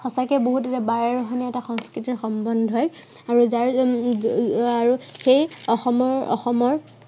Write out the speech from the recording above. সঁচাকে বহুত বাৰেৰহণীয়া এটা সংস্কৃতিৰ সম্বন্ধই আৰু যাৰ সেই অসমৰ অসমৰ